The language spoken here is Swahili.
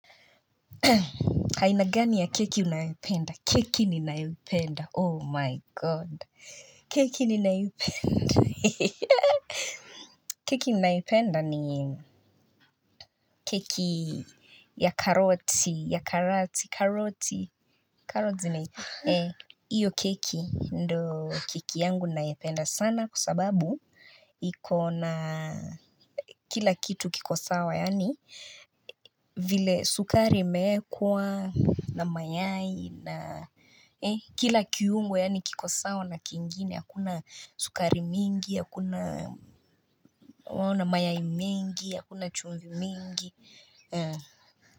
Haina gani ya keki unayependa? Keki ni unayependa. Oh, my god. Keki ni unayependa. Keki unayependa ni keki ya karoti. Ya karati. Karoti. Karoti. Eh, iyo keki. Ndo keki yangu unayependa sana. Kwa sababu, ikona kila kitu kikosawa. Yani, vile sukari imeekwa na mayai. Na kila kiungu yaani kikosawa na kiingine, hakuna sukari mingi, hakuna mayai mengi, hakuna chungu mingi.